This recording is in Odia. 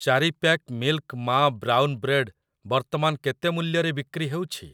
ଚାରି ପ୍ୟାକ୍ ମିଲ୍କ ମା ବ୍ରାଉନ୍ ବ୍ରେଡ୍ ବର୍ତ୍ତମାନ କେତେ ମୂଲ୍ୟରେ ବିକ୍ରି ହେଉଛି?